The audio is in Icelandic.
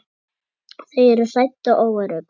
Þau eru hrædd og óörugg.